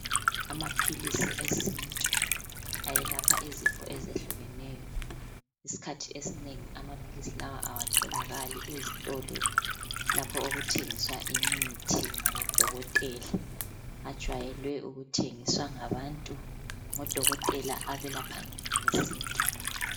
Amaphilisi esintu eyelapha izifo ezehlukeneyo . Isikhathi esinengi amaphilisi lawa awatholakali ezitolo lapho okuthengiswa imithi ngabo Dokotela .Ajwayele ukuthengiswa ngabantu oDokotela abelaphayo ngesintu.